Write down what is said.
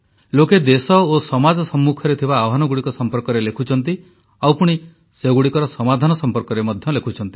ଲୋକେ ଦେଶ ଓ ସମାଜ ସମ୍ମୁଖରେ ଥିବା ଆହ୍ୱାନଗୁଡ଼ିକ ସମ୍ପର୍କରେ ଲେଖୁଛନ୍ତି ଆଉ ପୁଣି ସେଗୁଡ଼ିକର ସମାଧାନ ସମ୍ପର୍କରେ ମଧ୍ୟ ଲେଖୁଛନ୍ତି